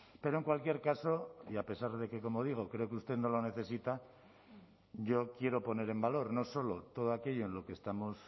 pero en cualquier caso y a pesar de que como digo creo que usted no lo necesita yo quiero poner en valor no solo todo aquello en lo que estamos